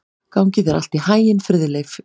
Gangi þér allt í haginn, Friðleif.